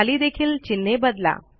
खाली देखील चिन्हे बदला